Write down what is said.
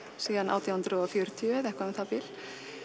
síðan átján hundruð og fjörutíu eða eitthvað um það bil